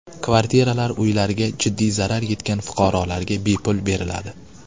Kvartiralar uylariga jiddiy zarar yetgan fuqarolarga bepul beriladi.